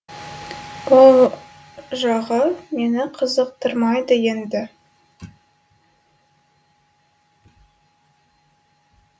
ол жағы мені қызықтырмайды енді